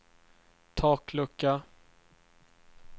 taklucka